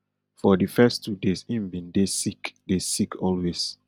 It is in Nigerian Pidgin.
for di first two days im bin dey sick dey sick always